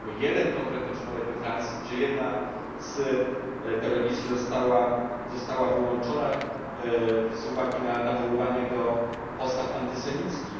Mamy jeden konkretny przypadek we Francji, gdzie jedna z telewizji została wyłączona z uwagi na nawoływanie do postaw antysemickich.